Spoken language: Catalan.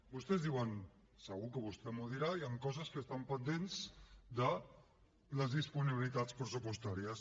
vostès diuen segur que vostè m’ho dirà hi han coses que estan pendents de les disponibilitats pressupostàries